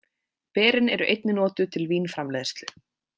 Berin eru einnig notuð til vínframleiðslu.